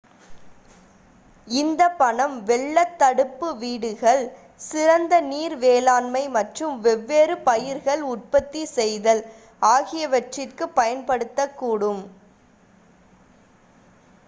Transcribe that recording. இந்த பணம் வெள்ளத் தடுப்பு வீடுகள் சிறந்த நீர் மேலாண்மை மற்றும் வெவ்வேறு பயிர்கள் உற்பத்தி செய்தல் ஆகியவற்றிற்கு பயன்படுத்தக்கூடும்